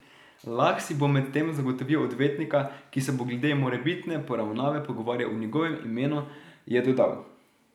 Lah si bo medtem zagotovil odvetnika, ki se bo glede morebitne poravnave pogovarjal v njegovem imenu, je dodal.